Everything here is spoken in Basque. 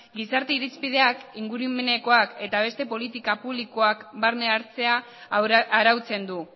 gizarte irizpideak ingurumenekoak eta beste politika publikoak barne hartzea arautzen du